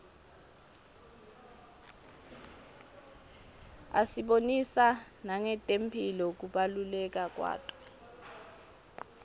asibonisa nangetemphilo kubaluleka kwato